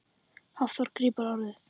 Hafþór grípur orðið.